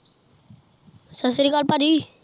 ਸਤਿ ਸ਼੍ਰੀ ਅਕਾਲ ਭੱਜੀ